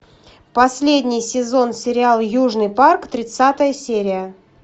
последний сезон сериал южный парк тридцатая серия